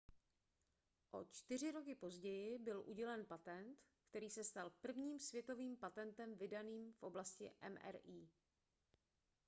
o čtyři roky později byl udělen patent který se stal prvním světovým patentem vydaným v oblasti mri